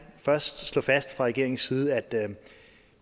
først slå fast fra regeringens side at